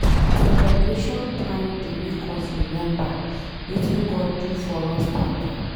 Celebration time dey make us remember wetin God do for us thank am.